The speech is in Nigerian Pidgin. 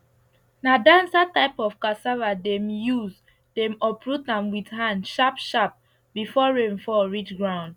na dancer type of cassava dem use dem uproot am with hand sharpsharp before rain fall reach ground